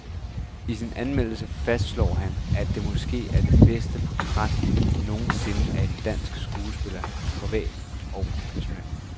I sin anmeldelse fastslår han, at det måske er det bedste portræt nogen sinde af en dansk skuespiller, privat og professionelt.